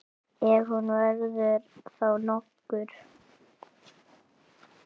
Ef hún verður þá nokkur.